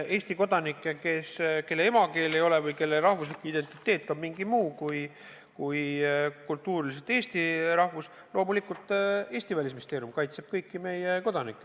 Eesti kodanikke, kelle emakeel ei ole eesti keel ja kelle rahvuslik identiteet on kultuuriliselt mingi muu kui eesti rahvus – loomulikult Eesti Välisministeerium kaitseb kõiki meie kodanikke.